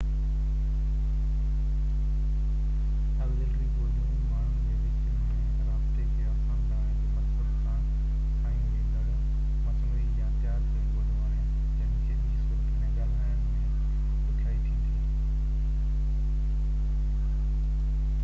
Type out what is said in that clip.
auxiliary ٻوليون ماڻهن جي وچ ۾ رابطي کي آسان بڻائڻ جي مقصد سان ٺاهيون وينديڙ مصنوعي يا تيار ڪيل ٻوليون آهن جن کي ٻي صورت ۾ ڳالهائڻ ۾ ڏکيائي ٿيندي